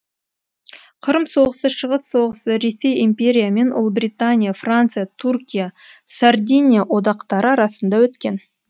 қырым соғысы шығыс соғысы ресей империя мен ұлыбритания франция түркия сардиния одақтары арасында өткен